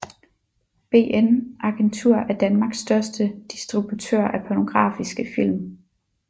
BN Agentur er Danmarks største distributør af pornografiske film